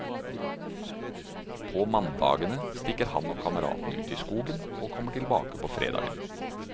På mandagene stikker han og kameratene ut i skogen og kommer tilbake på fredagen.